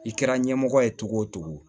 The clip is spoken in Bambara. I kɛra ɲɛmɔgɔ ye togo o cogo